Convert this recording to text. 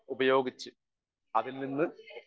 speaker 1 ഉപയോഗിച്ച് അതിൽനിന്ന്